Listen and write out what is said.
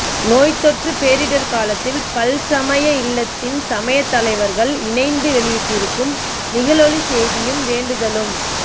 நோய்த்தொற்றுப் பேரிடர்காலத்தில் பல்சமயஇல்லத்தின் சமயத்தலைவர்கள் இணைந்து வெளியிட்டிருக்கும் நிகளொளிச் செய்தியும் வேண்டுதலும்